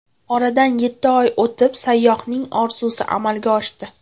Oradan yetti oy o‘tib, sayyohning orzusi amalga oshdi.